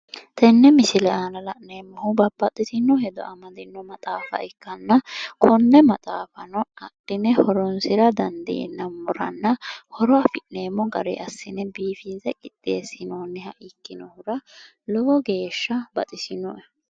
Tenne misile aana la'neemmohu babbaxxitino hedo amaddino maxaafa ikkanna konne maxaafano adhine horoonsira dandiinammoranna horo afi'neemmo gariyi assine biifinse qixxeessinoonniha ikkinnohura lowo geeshsha baxisinoe.